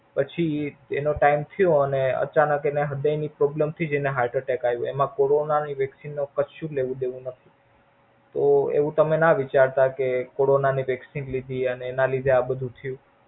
પછી એનો ટાઈમ થયો અને અચાનક એને હૃદય ની problem થઈ જેને Heart attack આવો. એમાં Corona ની vaccine નો કશું જ લેવું દેવું નથ તો તમે એવું તમ ના વિચારતા કે Corona ની vaccine લીધી અને એના લીધે આ બધું થયુ.